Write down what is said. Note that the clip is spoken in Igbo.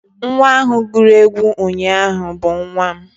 nwa ahụ guru egwu ụnyahụ bụ nwa m